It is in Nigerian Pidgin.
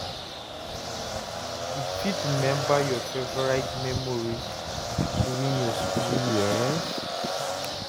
you fit remember your favorite memories during your school years?